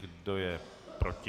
Kdo je proti?